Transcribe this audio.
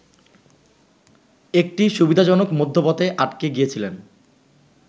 একটি সুবিধাজনক মধ্যপথে আটকে গিয়েছিলেন